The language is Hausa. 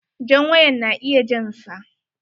Jan wayan na iya jan sa.